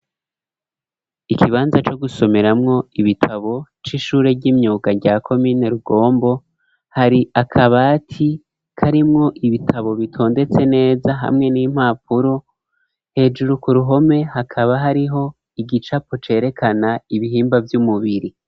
Ikibanza co gusomeramwo ibitabo c'ishure ry'imyuga ryya komine Rugombo, hari akabati karimwo ibitabo bitondetse neza hamwe n'impapuro hejuru ku ruhome, hakaba hariho igicapo cerekana ibihimba vy'umubiri.